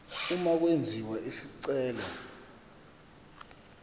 uma kwenziwa isicelo